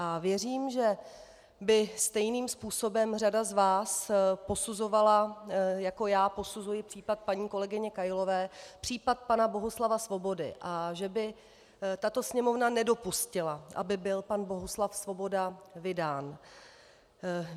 A věřím, že by stejným způsobem řada z vás posuzovala, jako já posuzuji případ paní kolegyně Kailové, případ pana Bohuslava Svobody a že by tato Sněmovna nedopustila, aby byl pan Bohuslav Svoboda vydán.